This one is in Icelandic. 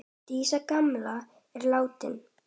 Dísa gamla er látin.